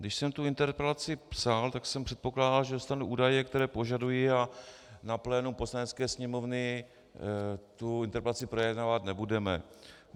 Když jsem tu interpelaci psal, tak jsem předpokládal, že dostanu údaje, které požaduji, a na plénu Poslanecké sněmovny tu interpelaci projednávat nebudeme.